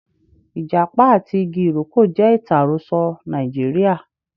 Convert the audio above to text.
Ijapa ati igi iroko je itan aroso Naijiria.